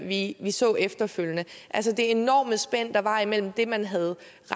vi vi så efterfølgende altså det enorme spænd der var imellem det antal man havde